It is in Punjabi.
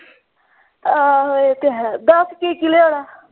ਆਹੋ ਇਹ ਤਾਂ ਹੈ ਦੱਸ ਕਿ ਕਿ ਲਿਆਉਣਾ।